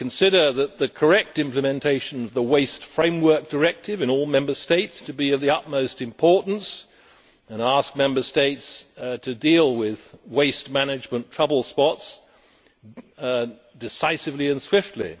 We consider the correct implementation of the Waste Framework Directive in all Member States to be of the utmost importance, and we ask Member States to deal with waste management trouble spots decisively and swiftly.